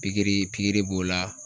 Pikiri pikiri b'o la